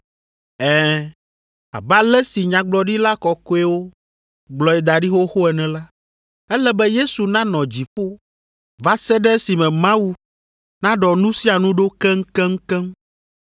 Ɛ̃, abe ale si nyagblɔɖila kɔkɔewo gblɔe da ɖi xoxoxo ene la, ele be Yesu nanɔ dziƒo va se ɖe esime Mawu naɖɔ nu sia nu ɖo keŋkeŋkeŋ.